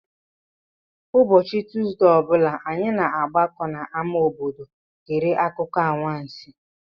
Ụbọchị Tuuzdee ọ bụla, anyị na-agbakọ n'ámá obodo gere akụkọ anwansi.